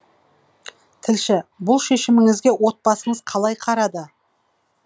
тілші бұл шешіміңізге отбасыңыз қалай қарады